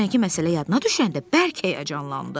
Dünənki məsələ yadına düşəndə bərk həyəcanlandı.